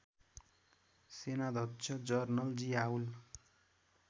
सेनाध्यक्ष जनरल जियाउल